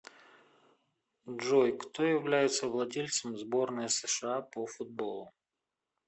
джой кто является владельцем сборная сша по футболу